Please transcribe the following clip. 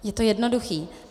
Je to jednoduché.